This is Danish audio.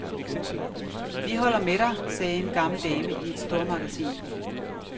Vi holder med dig, sagde en gammel dame i et stormagasin.